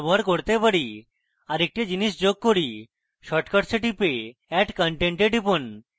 আরেকটি জিনিস যোগ করি shortcuts এ টিপে add content এ টিপুন